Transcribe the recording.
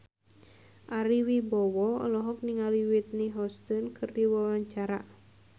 Ari Wibowo olohok ningali Whitney Houston keur diwawancara